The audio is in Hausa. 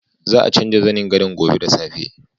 Za a canza zanin gadon gobe da safe.